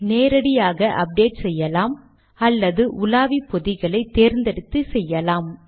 நேரடியாக அப்டேட் செய்யலாம் அல்லது உலாவி பொதிகளை தேர்ந்தெடுத்து செய்யலாம்